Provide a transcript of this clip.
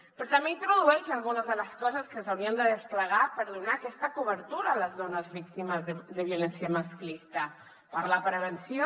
però també introdueix algunes de les coses que s’haurien de desplegar per donar aquesta cobertura a les dones víctimes de violència masclista per a la prevenció